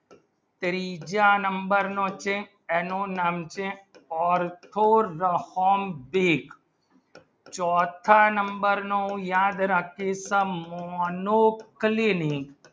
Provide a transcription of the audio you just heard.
ત્રીજા number નું છે એનું નામ છે ઓર્થોરોહમ્બિક ચોથા number ની યાદ રાખી થા મોનુ ફૂલી ની